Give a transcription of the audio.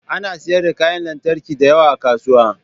Ana sayar da kayan lantarki da yawa a kasuwa